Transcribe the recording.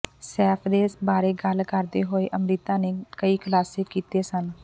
ਸੈਫ ਦੇ ਬਾਰੇ ਗੱਲ ਕਰਦੇ ਹੋਏ ਅੰਮ੍ਰਿਤਾ ਨੇ ਕਈ ਖੁਲਾਸੇ ਕੀਤੇ ਸਨ